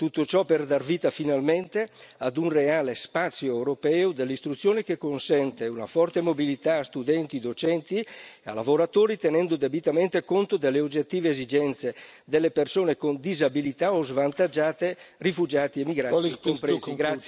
Tutto ciò per dar vita, finalmente, a un reale spazio europeo dell'istruzione che consenta una forte mobilità a studenti, docenti e lavoratori, tenendo debitamente conto delle oggettive esigenze delle persone con disabilità o svantaggiate, rifugiati e migranti compresi.